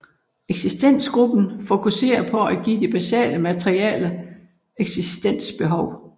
Eksistensgruppen fokuserer på at give de basale materielle eksistensbehov